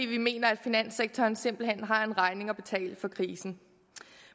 vi mener at finanssektoren simpelt hen har en regning at betale for krisen